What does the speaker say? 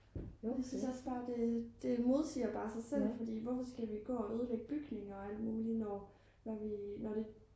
jeg synes også bare det modsiger bare sig selv fordi hvorfor skal vi gå og ødelægge bygninger og alt muligt når det